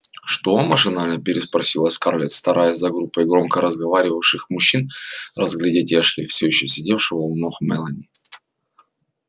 что машинально переспросила скарлетт стараясь за группой громко разговаривавших мужчин разглядеть эшли всё ещё сидевшего у ног мелани